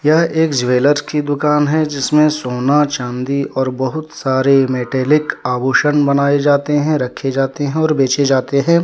यह एक ज्वेलर की दुकान है जिसमें सोना चांदी और बहुत सारे मेटेलिक आभूषण बनाए जाते हैं रखे जाते हैं और बेचे जाते हैं।